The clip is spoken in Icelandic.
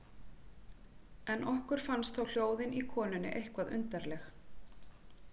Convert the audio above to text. En okkur fannst þó hljóðin í konunni eitthvað undarleg.